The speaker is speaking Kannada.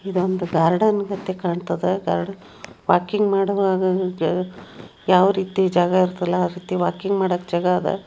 ಇದೊಂದು ಗಾರ್ಡನ್ ಗರ್ ವಾಕಿಂಗ್ ಮಾಡುವಾಗ ಯಾವ ರೀತಿ ಜಾಗ ಇರುತ್ತಲ್ಲ ಆ ರೀತಿ ವಾಕಿಂಗ್ ಮಾಡಕ್ಕೆ ಜಾಗ ಅದ.